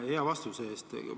Aitäh hea vastuse eest!